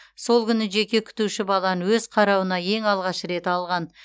сол күні жеке күтуші баланы өз қарауына ең алғаш рет алған